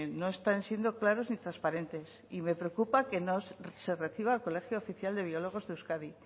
no están siendo claros ni transparentes y me preocupa que no se reciba al colegio oficial de biólogos de euskadi